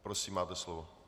Prosím, máte slovo.